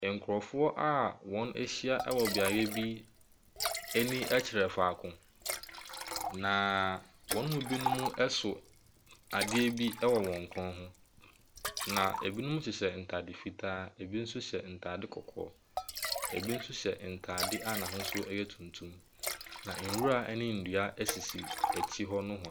Nkurɔfoɔ a wɔahyia wɔ beaeɛ bi ani kyerɛ faako, na wɔn mu binom so adeɛ bi wɔ wɔn kɔn ho, na binom hyehyɛ ntade fitaa, binom nso hyɛ ntade kɔkɔɔ. Ɛbi nso hyɛ ntadeɛ a n'ahosuo yɛ tuntum, na nwura ne nnua sisi akyire hɔ nohoa.